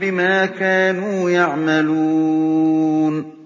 بِمَا كَانُوا يَعْمَلُونَ